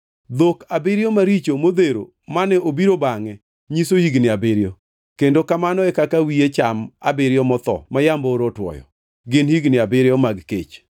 Dhok abiriyo maricho modhero mane obiro bangʼe nyiso higni abiriyo, kendo kamano e kaka wiye cham abiriyo motho ma yamb oro otwoyo; gin higni abiriyo mag kech.